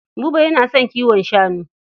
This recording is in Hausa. Buba yana son kiwon shanu.